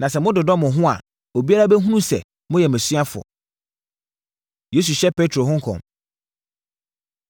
Na sɛ mododɔ mo ho mo ho a, obiara bɛhunu sɛ moyɛ mʼasuafoɔ.’ ” Yesu Hyɛ Petro Ho Nkɔm